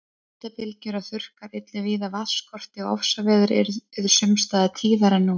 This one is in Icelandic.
Hitabylgjur og þurrkar yllu víða vatnsskorti og ofsaveður yrðu sums staðar tíðari en nú.